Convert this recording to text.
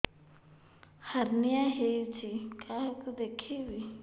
hernia ହୋଇଛି କାହାକୁ ଦେଖେଇବି